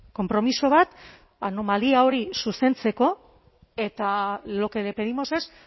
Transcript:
konpromiso bat anomalia hori zuzentzeko eta lo que le pedimos es